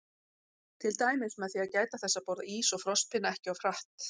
Til dæmis með því að gæta þess að borða ís og frostpinna ekki of hratt.